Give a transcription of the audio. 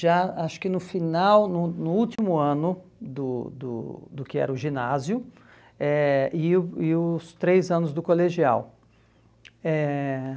já acho que no final, no no último ano do do do que era o ginásio, eh e o e os três anos do colegial. Eh